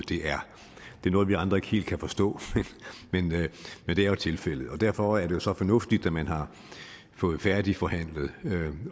det er noget vi andre ikke helt kan forstå men det er jo tilfældet derfor er det jo så fornuftigt at man har fået færdigbehandlet